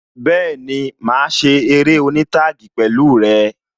Bẹẹni, máa ṣe eré oní taagi pẹ̀lú rẹ